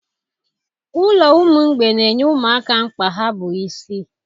Ụlọ ụmụ mgbei na-enye ụmụaka mkpa ha bụ isi